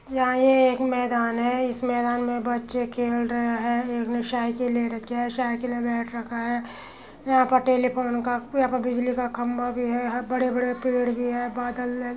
यहाँ ये एक मैदान है | इस मैदान में बच्चे खेल रहै है | एक ने साइकिल ले रखी है | साइकिल में बैट रखा है | यहाँ पे टेलीफोन का यहाँ पे बिजली का खंबा भी है | बड़े-बड़े पेड़ भी है | बादल है |